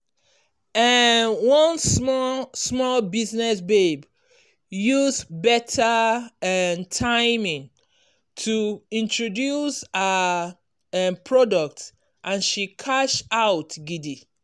um one small small business babe use better um timing to introduce her um product and she cash out gidi.